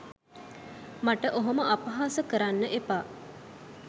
මට ඔහොම අපහස කරන්න එපා